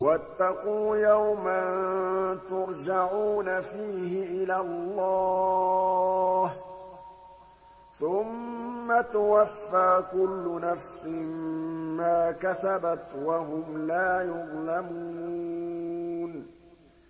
وَاتَّقُوا يَوْمًا تُرْجَعُونَ فِيهِ إِلَى اللَّهِ ۖ ثُمَّ تُوَفَّىٰ كُلُّ نَفْسٍ مَّا كَسَبَتْ وَهُمْ لَا يُظْلَمُونَ